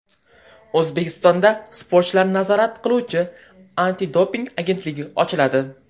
O‘zbekistonda sportchilarni nazorat qiluvchi antidoping agentligi ochiladi.